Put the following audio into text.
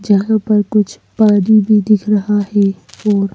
पर कुछ पानी भी दिख रहा है और--